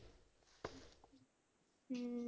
ਹਮ